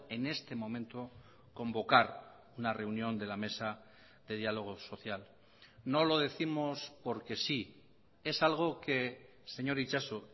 en este momento convocar una reunión de la mesa de diálogo social no lo décimos porque sí es algo que señor itxaso